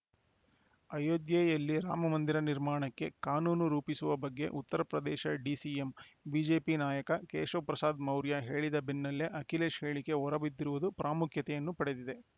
ಅಯೋಧ್ಯೆಯಲ್ಲಿ ರಾಮ ಮಂದಿರ ನಿರ್ಮಾಣಕ್ಕೆ ಕಾನೂನು ರೂಪಿಸುವ ಬಗ್ಗೆ ಉತ್ತರ ಪ್ರದೇಶ ಡಿಸಿಎಂ ಬಿಜೆಪಿ ನಾಯಕ ಕೇಶವ್‌ ಪ್ರಸಾದ್‌ ಮೌರ್ಯ ಹೇಳಿದ ಬೆನ್ನಲ್ಲೇ ಅಖಿಲೇಶ್‌ ಹೇಳಿಕೆ ಹೊರಬಿದ್ದಿರುವುದು ಪ್ರಾಮುಖ್ಯತೆಯನ್ನು ಪಡೆದಿದೆ